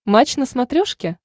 матч на смотрешке